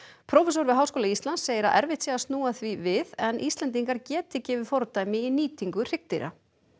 prófessor við Háskóla Íslands segir að erfitt sé að snúa því við en Íslendingar geti gefið fordæmi í nýtingu hryggdýra